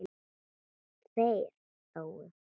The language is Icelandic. Þeir hlógu.